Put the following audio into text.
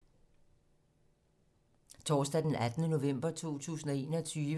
Torsdag d. 18. november 2021